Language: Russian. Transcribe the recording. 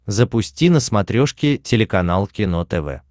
запусти на смотрешке телеканал кино тв